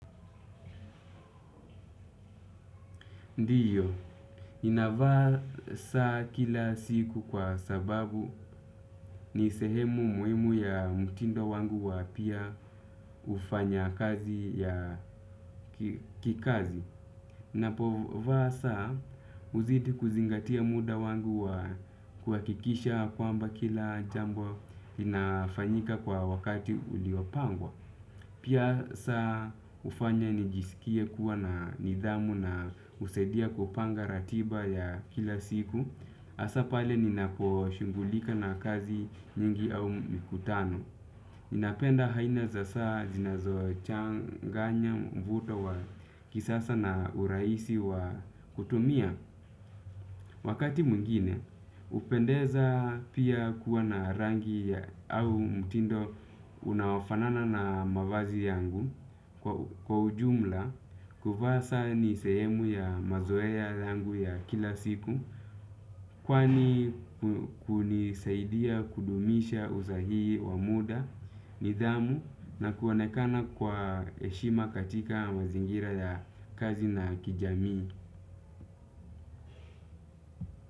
Ndiyo, ninavaa saa kila siku kwa sababu ni sehemu muhimu ya mtindo wangu wa pia ufanyakazi ya kikazi. Ninapovaa saa huzidi kuzingatia muda wangu wa kuhakikisha kwamba kila jambo inafanyika kwa wakati uliopangwa. Pia saa hufanya nijisikie kuwa na nidhamu na husaidia kupanga ratiba ya kila siku. Hasa pale ninaposhughulika na kazi nyingi au mkutano ninapenda aina za saa zinazochanganya mvuto wa kisasa na urahisi wa kutumia. Wakati mwingine hupendeza pia kuwa na rangi au mtindo unaofanana na mavazi yangu kwa ujumla kuvaa saa ni sehemu ya mazoea yangu ya kila siku. Kwani kunisaidia kudumisha usahihi wa muda, nidhamu na kuonekana kwa heshima katika mazingira ya kazi na kijamii.